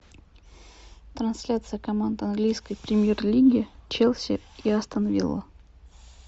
трансляция команд английской премьер лиги челси и астон вилла